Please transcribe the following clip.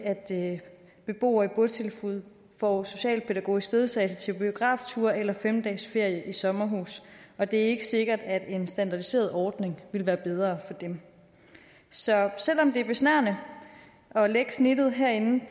at beboere i botilbud får socialpædagogisk ledsagelse til biografture eller fem dages ferie i sommerhus og det er ikke sikkert at en standardiseret ordning ville være bedre for dem så selv om det er besnærende at lægge snittet herinde